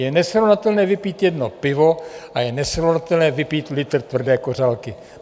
Je nesrovnatelné vypít jedno pivo a je nesrovnatelné vypít litr tvrdé kořalky.